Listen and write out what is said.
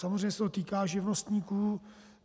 Samozřejmě se to týká živnostníků.